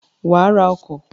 Wàá ra ọkọ̀